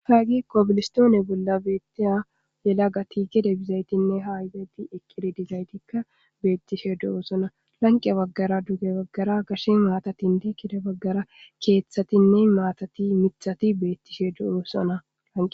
Hagey koobilistoone bolla beettiya yelagati gede bizaytinne hayizayti eqidi dizaytikka beettishe do'osona. Lanqe baggara dugge baggara gashe maatatinne gede baggara keeththatinne maatati mithati beettishe do'osona.